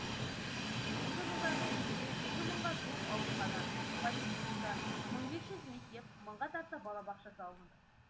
осы жылдардың ішінде екі мыңға жуық аурухана поликлиника мың бес жүз мектеп мыңға тарта балабақша салынды